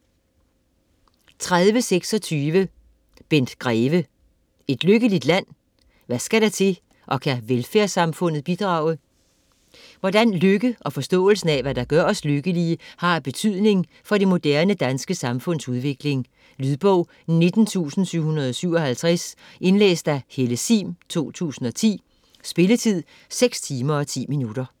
30.26 Greve, Bent: Et lykkeligt land?: hvad skal der til og kan velfærdssamfundet bidrage? Hvordan lykke og forståelsen af, hvad der gør os lykkelige, har af betydning for det moderne danske samfunds udvikling. Lydbog 19757 Indlæst af Helle Sihm, 2010. Spilletid: 6 timer, 10 minutter.